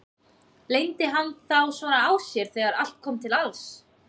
Leyndi hann þá svona á sér þegar allt kom til alls?